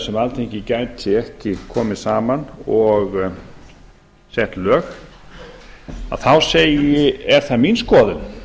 sem alþingi gæti ekki komið saman og sett lög þá er það mín skoðun